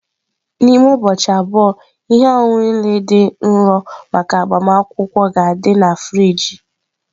N'ime ụbọchị abụọ, ihe ọṅụṅụ niile dị nro maka agbamakwụkwọ ga-adị na friji.